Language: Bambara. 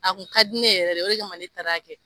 A tun ka di ne yɛrɛ de ye, o de kama ne taara a kɛ.